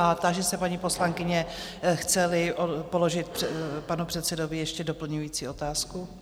A táži se paní poslankyně, chce-li položit panu předsedovi ještě doplňující otázku?